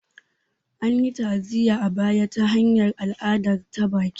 An yi ta'aziyya a baya ta hanyar al'ada ta baki